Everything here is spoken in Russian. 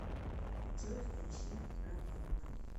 джой включи раванна